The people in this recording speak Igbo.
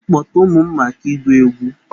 M kpọta ụmụ m maka ịgụ egwu?